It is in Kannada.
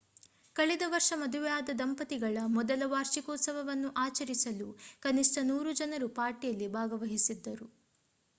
ಕಳೆದ ವರ್ಷ ಮದುವೆಯಾದ ದಂಪತಿಗಳ ಮೊದಲ ವಾರ್ಷಿಕೋತ್ಸವವನ್ನು ಆಚರಿಸಲು ಕನಿಷ್ಠ 100 ಜನರು ಪಾರ್ಟಿಯಲ್ಲಿ ಭಾಗವಹಿಸಿದ್ದರು